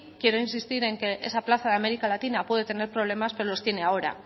quiero insistir en que esa plaza de américa latina puede tener problemas pero los tiene ahora